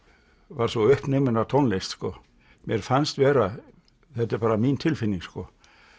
var svo uppnuminn af tónlist mér fannst vera þetta er bara mín tilfinning sko